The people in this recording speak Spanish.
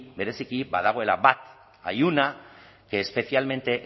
bereziki badagoela bat hay una que es especialmente